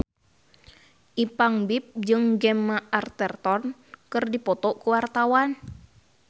Ipank BIP jeung Gemma Arterton keur dipoto ku wartawan